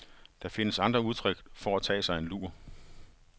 Der findes andre udtryk for at tage sig en lur.